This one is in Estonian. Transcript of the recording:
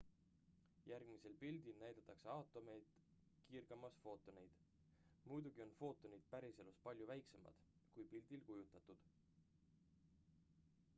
järgmisel pildil näidatakse aatomeid kiirgamas footoneid muidugi on footonid päriselus palju väiksemad kui pildil kujutatud